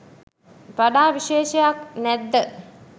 වඩා විශේෂයක් නැද්ද?